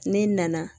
Ne nana